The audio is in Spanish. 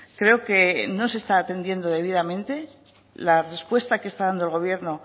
creo que no se está atendiendo debidamente la respuesta que está dando el gobierno